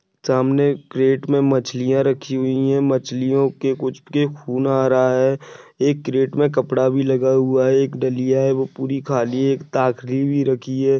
सामने क्रैट में मछलियाँ रखी हुई हैं मछलियों के कुछ के खून आ रहा हैं एक क्रैट में कपड़ा भी रखा हुआ हैं एक दलिआ हैं वो पूरी खाली हैं एक ताकरी भी रखी हैं।